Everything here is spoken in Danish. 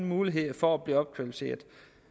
muligheder for at blive opkvalificeret